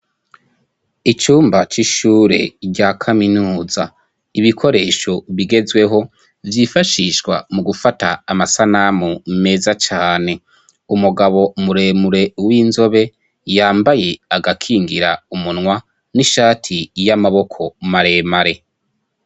Icumba c'ishure rya kaminuza, ibikoresho bigezweho vyifashishwa mugufata amasanamu meza cane, umugabo muremure w'inzobe yambaye agakingira umunwa n'ishati y'amaboko maremare.